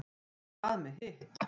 en hvað með hitt